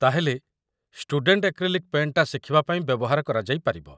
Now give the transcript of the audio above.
ତା'ହେଲେ, student acrylic ପେଣ୍ଟ୍‌ଟା ଶିଖିବା ପାଇଁ ବ୍ୟବହାର କରାଯାଇପାରିବ ।